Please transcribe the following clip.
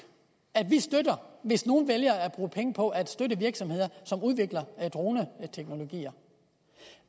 at vi støtter hvis nogle vælger at bruge penge på at støtte virksomheder som udvikler droneteknologier